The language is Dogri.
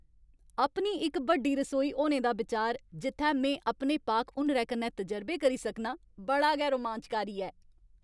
अपनी इक बड्डी रसोई होने दा बिचार, जित्थै में अपने पाक हुनरै कन्नै तजरबे करी सकनां, बड़ा गै रोमांचकारी ऐ।